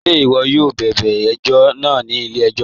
Ṣẹ̀ iwọ̀ yóò bẹbẹ̀ ẹ̀jọ̀ náà ni ilẹ̀-ẹ̀jọ̀?